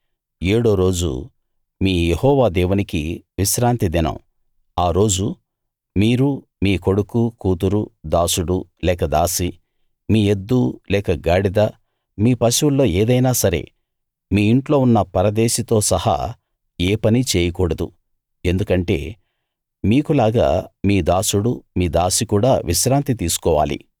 ఏడో రోజు మీ యెహోవా దేవునికి విశ్రాంతి దినం ఆ రోజు మీరు మీ కొడుకు కూతురు దాసుడు లేక దాసి మీ ఎద్దు లేక గాడిద మీ పశువుల్లో ఏదైనా సరే మీ ఇంట్లో ఉన్న పరదేశితో సహా ఏ పనీ చేయకూడదు ఎందుకంటే మీకులాగా మీ దాసుడు మీ దాసి కూడా విశ్రాంతి తీసుకోవాలి